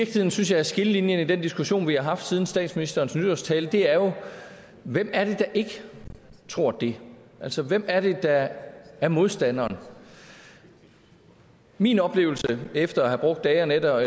synes er skillelinjen i den diskussion vi har haft siden statsministerens nytårstale er jo hvem er det der ikke tror det altså hvem er det der er modstanderen min oplevelse efter at have brugt dage og nætter